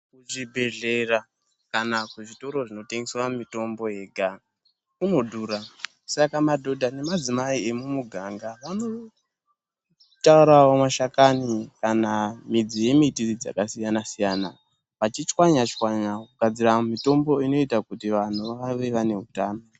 Ku zvibhedhlera kana ku zvitoro zvino tengeswa mitombo yega kuno dhura saka madhodha ne madzimai emu miganga vano torawo mashakani kana midzi ye miti dzaka siyana siyana vachi chwanya chwanya kugadzira mitombo inoita kuti vanhu vave vane utano.